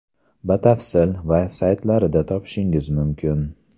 Batafsil - va saytlarida topishingiz mumkin.